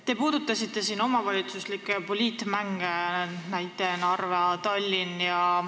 Te puudutasite omavalitsuslikke poliitmänge, näide oli Narva ja Tallinna kohta.